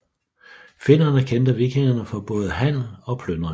Finnerne kendte vikingerne for både handel og plyndringer